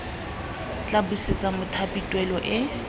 tla busetsa mothapi tuelo eo